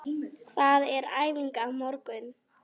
Það er æfing á morgun.